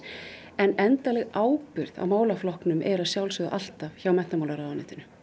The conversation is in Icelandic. en endanleg ábyrgð á málaflokknum er að sjálfsögðu alltaf hjá menntamálaráðuneytinu